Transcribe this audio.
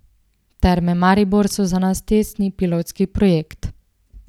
Terme Maribor so za nas testni, pilotski projekt.